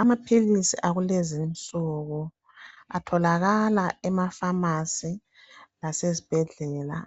Amapilisi akulezi insuku, atholakala emafasi lasesibhedlela.